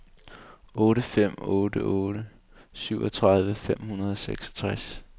otte fem otte otte syvogtredive fem hundrede og seksogtres